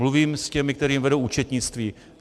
Mluvím s těmi, kteří vedou účetnictví.